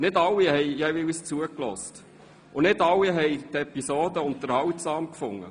Nicht alle haben jeweils zugehört, und nicht alle fanden die Episoden unterhaltsam.